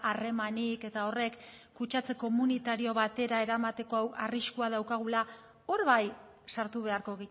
harremanik eta horrek kutsatze komunitario batera eramateko arriskua daukagula hor bai sartu beharko